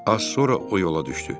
Az sonra o yola düşdü.